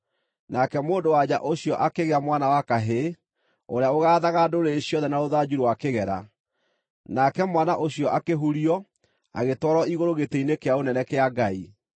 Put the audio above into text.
Nake mũndũ-wa-nja ũcio akĩgĩa mwana wa kahĩĩ, ũrĩa ũgaathaga ndũrĩrĩ ciothe na rũthanju rwa kĩgera. Nake mwana ũcio akĩhurio, agĩtwarwo igũrũ gĩtĩ-inĩ kĩa ũnene kĩa Ngai.